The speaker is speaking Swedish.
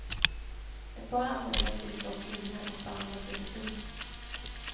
Ett par anmälningar till finns dock inne och behandlas just nu.